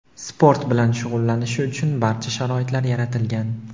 sport bilan shug‘ullanishi uchun barcha sharoitlar yaratilgan.